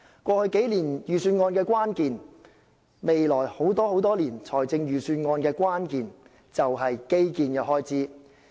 過去數年預算案的關鍵及未來很多年預算案的關鍵，都是基建開支。